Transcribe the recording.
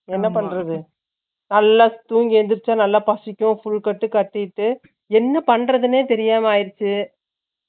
என்ன பண்றது நல்ல தூங்கி எந்திரிச்சி நல்லா பசிக்கும் நல்லா full கட்டு கட்டிட்டு என்ன பண்றதுனே தெரியாம ஆயிடுச்சு